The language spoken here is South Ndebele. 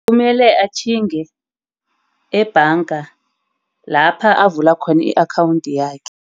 Kumele atjhinge ebhanga lapha avule khona i-akhawundi yakhe.